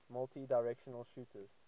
multidirectional shooters